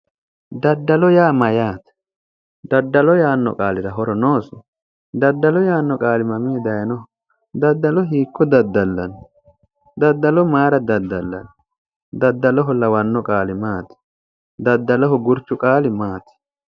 Daddalo yaa mayyaate? Daddalo yaanno qaalira horo noosi? Daddalo yaanno qaali mamii dayinoho? Daddalo hiikko daddallanni? Daddalo mayira daddallanni? Daddaloho lawanno qaali maati? Daddaloho gurchu qaali maati?